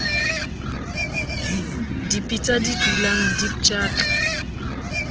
dipitsa di dulang di pjatla